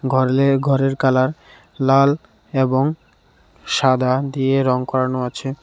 ঘরের কালার লাল এবং সাদা দিয়ে রং করানো আছে.